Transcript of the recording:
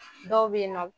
Dɔw bɛ yen nɔ